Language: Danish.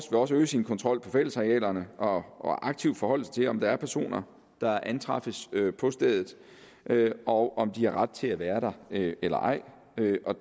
også øge sin kontrol på fællesarealerne og og aktivt forholde sig til om der er personer der antræffes på stedet og om de har ret til at være der eller ej